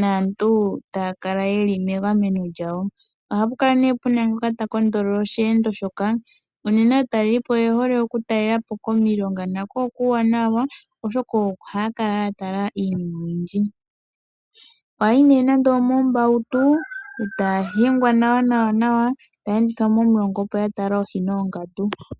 naantu taya kala ye li megameno lyawo. Ohapu kala nee pu na omukwateli komeho gosheendo shoka. Unene aatalelipo oye hole oku talelapo komilonga na ko okuuwanawa oshoka oha ya kala ya tala iinima oyindji. Ohaya yi nee moombautu ta ya hingwa nawa nawa ta ya endithwa momulonga opo ya tale oohi noongandu.